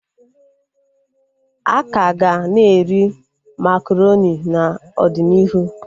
Akaga na-eri makaronị n'ọdịnihu